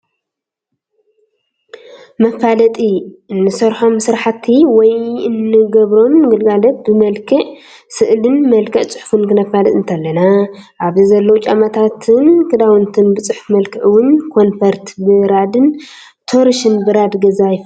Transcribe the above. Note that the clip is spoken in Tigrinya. መፋለጢ እንሰርሖም ስራሕቲ ወይ እንግቦም ግልጋሎት ብመልክዕ ስእልን ብመልክዕ ፅሑፉን ክነፋልጥ እንተለና ኣብዚ ዘለው ጫማታትን ክዳውንትን ብፅሑፍ መልክዕ እውን ኮንፎርት ብራድን ቶርሽ ብራድ ገዛ የፋልጥ ኣሎ።